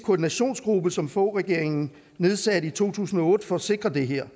koordinationsgruppe som foghregeringen nedsatte i to tusind og otte for at sikre det her